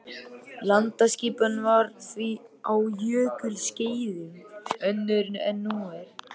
Landaskipan var því á jökulskeiðum önnur en nú er.